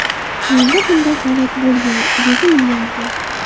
Menda bunday holat bo‘lgan, dedi milliarder.